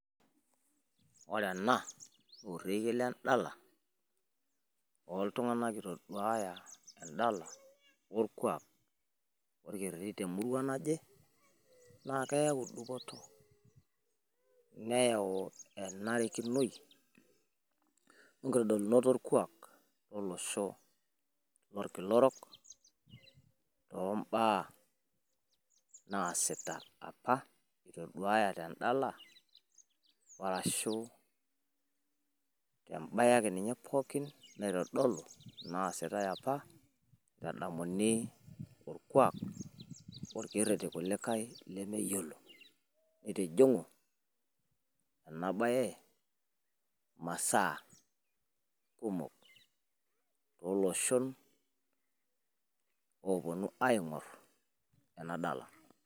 Woore enaa naa orekiee lendala loltunganak itoduaya endala olkuaak wolkereri temuruaa naaje naaeyauu dupoto neyauu enarikinoi onkitodolunot olkuaak lolosho lolkila orook,, tombaa naasita aapa itoduaaya tendalaa arashu tembaee ake ninye pookin naasitai apa itoduaya tendala arashu tembaee ake ninye naasita apa edamuni tokereri likae lemeyiolo litijingu imasaa kumok toloshon kuliee oponu adool enaa bae.